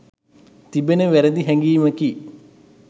තිබෙන වැරදි හැඟීමකි.